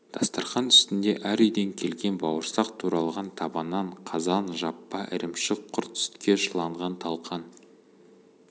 дастарқан үстінде әр үйден келген бауырсақ туралған таба нан қазан жаппа ірімшік-құрт сүтке шыланған талқан